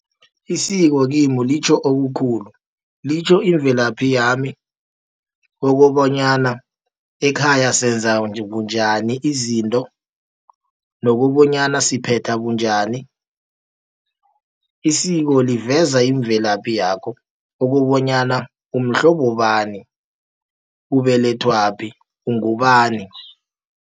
Isiko kimi litjho okukhulu. Litjho imvelaphi yami, okobonyana ekhaya senza bunjani izinto, nokobonyana siphetha bunjani. Isiko liveza imvelaphi yakho, ukobonyana umhlobo bani, ubelethwaphi, ungubani.